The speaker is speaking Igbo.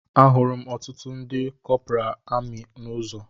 Ahụrụ ọtụtụ ndị kọpura amị n'ụzọ